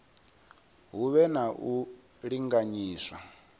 hu vhe na u linganyiswa